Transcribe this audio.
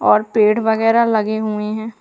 और पेड़ वगैरह लगे हुए हैं।